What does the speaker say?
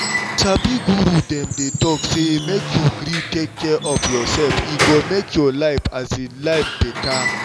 you sabi guru dem dey talk say make you gree take care of yourself e go make your um life better